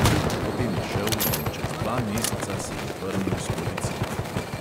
Potem je šel in čez dva meseca se je vrnil s policijo.